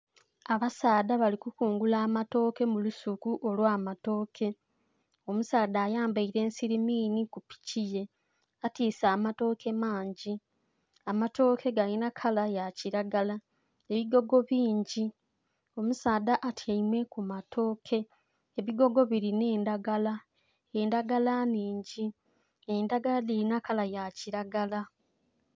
Abasaadha bali kukungula amatooke mu lusuku olw'amatooke. Omusaadha ayambaile ensirimiini ku piki ye. Atiise amatooke mangi. Amatooke galina kala ya kilagala. Ebigogo bingi. Omusaadha atyaime ku matooke. Ebigogo bilina endagala, endagala nnhingi. Endagala dhilina kala ya kilagala.